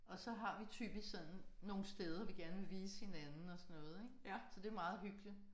Og så har vi typisk sådan nogle steder vi gerne vil vise hinanden og sådan noget ik. Så det er meget hyggeligt